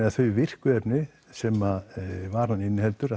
að þau virku efni sem varan inniheldur